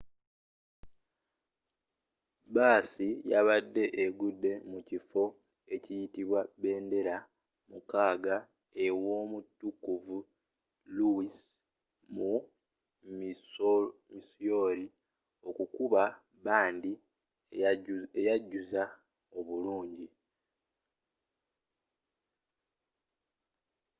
baasi yabadde egenda mukifo ekiyitibwa bendera mukaaga e womutukuvu louis mu missouri okukuba bandi eyajjuzza obulungi